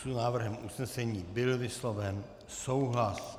S návrhem usnesení byl vysloven souhlas.